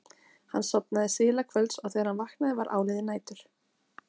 Hann sofnaði síðla kvölds og þegar hann vaknaði var áliðið nætur.